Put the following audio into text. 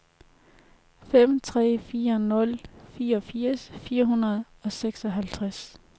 fem tre fire nul fireogfirs fire hundrede og seksoghalvtreds